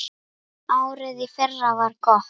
Árið í fyrra var gott.